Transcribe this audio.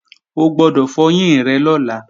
O gbọ́dọ̀ fọyín rẹ lọ́la!